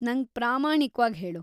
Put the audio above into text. ನಂಗ್ ಪ್ರಾಮಾಣಿಕ್ವಾಗ್‌ ಹೇಳು.